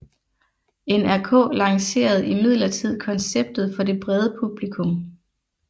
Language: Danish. NRK lancerede imidlertid konceptet for det brede publikum